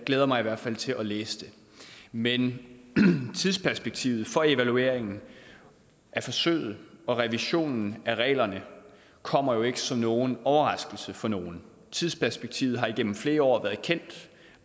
glæder mig i hvert fald til at læse den men tidsperspektivet for evalueringen af forsøget og revisionen af reglerne kommer jo ikke som nogen overraskelse for nogen tidsperspektivet har igennem flere år været kendt